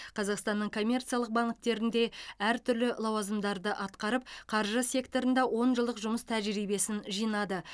қазақстанның коммерциялық банктерінде әртүрлі лауазымдарды атқарып қаржы секторында он жылдық жұмыс тәжірибесін жинады